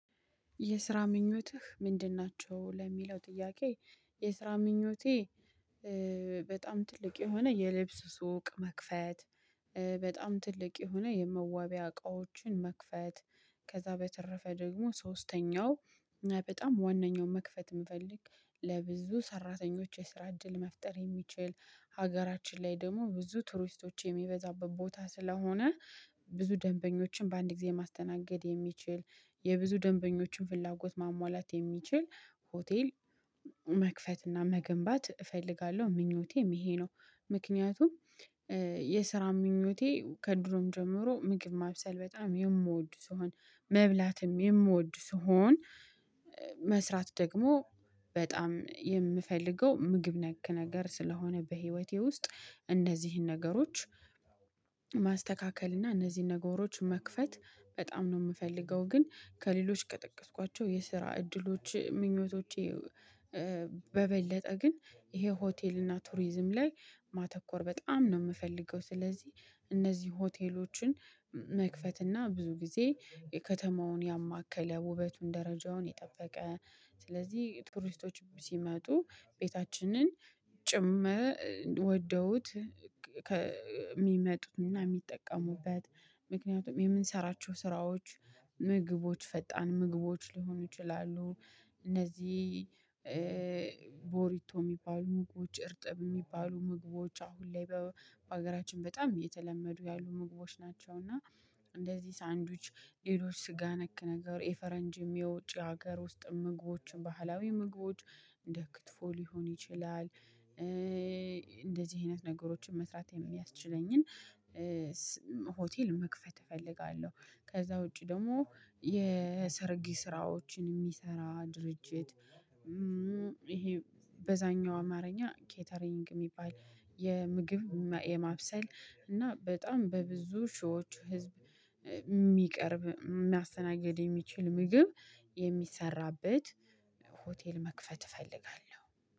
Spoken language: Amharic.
''የስራ ምኞትህ ምንድን ናቸው?'' ለሚለው ጥያቄ፣ የስራ ምኞቴ በጣም ትልቅ የሆነ የልብስ ሱቅ መክፈት በጣም ትልቅ የሆነ የመዋቢያ እቃዎችን መክፈት። ከዛ በተረፈ ደግሞ ሶስተኛው በጣም ዋነኛው መክፈት የምፈልግ ለብዙ ሰራተኞች የስራ እድል መፍጠር የሚችል ሀገራችን ላይ ደግሞ ብዙ ቱሪስቶች የሚበዛበት ቦታ ስለሆነ ብዙ ደንበኞችን በአንድ ጊዜ ማስተናገድ የሚችል የብዙ ደንበኞችን ፍላጎት ማሟላት የሚችል ሆቴል መክፈት እና መገንባት እፈልጋለሁ ምኞቴም ይሄ ነው ምክንያቱም የስራ ምኞቴ ከድሮም ጀምሮ ምግብ ማብሰል በጣም የምወድ ስሆን መብላትም የምወድ ስሆን መስራት ደግሞ በጣም የምፈልገው ምግብ ነክ ነገር ስለሆነ በህይወቴ ውስጥ እንደዚህን ነገሮች ማስተካከል እና እነዚህን ነገሮች መክፈት በጣም ነው የምፈልገው ግን ከሌሎች ከጠቀስኳቸው የስራ እድሎች ምኞቶቼ በበለጠ ግን ይሄ ሆቴል እና ቱሪዝም ላይ ማተኮር በጣም ነው የምፈልገው ስለዚህ እነዚህ ሆቴሎችን መክፈት እና ብዙ ጊዜ ከተማውን ያማከለ ውበቱን ደረጃውን የጠበቀ ስለዚህ ቱሪስቶች ሲመጡ ቤታችንን ጭምር ወደውት ከ ሚመጡና የሚጠቀሙበት ምክንያቱም የምንሰራቸው ስራዎች ምግቦች ፈጣን ምግቦች ሊሆኑ ይችላሉ እነዚህ ቦሪቶ የሚባሉ ምግቦች እርጥብ የሚባሉ ምግቦች አሁን ላይ በሀገራችን በጣም እየተለመዱ ያሉ ምግቦች ናቸው እና እንደዚህ ሳንድዊች ሌሎች ስጋ ነክ ነገር የፈረንጅም የውጭ ሀገር ውስጥም ምግቦችም ባህላዊ ምግቦች እንደ ክትፎ ሊሆን ይችላል እንደዚህ አይነት ነገሮችን መስራት የሚያስችለኝን ሆቴል መክፈት እፈልጋለሁ ከዛ ውጪ ደግሞ የሰረግ ስራዎችን የሚሰራ ድርጅት ይሄ በዛኛው አማርኛ ኬተሪንግ የሚባል የምግብ የማብሰል እና በጣም በብዙ ሺዎች ህዝብ የሚቀርብ ማስተናግድ የሚችል ምግብ የሚሰራበት ሆቴል መክፈት እፈልጋለሁ